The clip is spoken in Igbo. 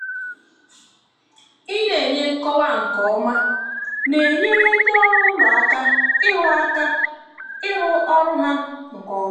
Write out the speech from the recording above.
ina enye nkọwa ihe nke ọma na-enyere ndị ọrụ ụlọ aka ịrụ aka ịrụ ọrụ ha nke ọma.